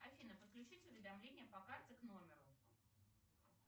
афина подключить уведомления по карте к номеру